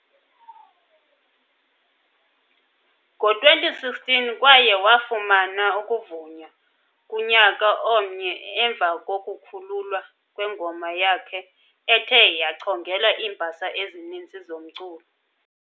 ngo-2016 kwaye wafumana ukuvunywa kunyaka omnye emva kokukhululwa kwengoma yakhe ethe "", yachongelwa iimbasa ezininzi zomculo.